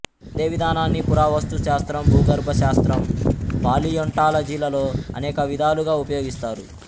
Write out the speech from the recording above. అదే విధానాన్ని పురావస్తు శాస్త్రం భూగర్భ శాస్త్రం పాలియోంటాలజీలలో అనేక విధాలుగా ఉపయోగిస్తారు